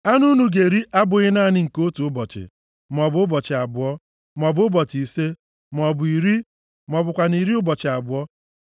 Anụ unu ga-eri abụghị naanị nke otu ụbọchị, maọbụ ụbọchị abụọ, maọbụ ụbọchị ise, maọbụ iri, ma ọ bụkwanụ iri ụbọchị abụọ!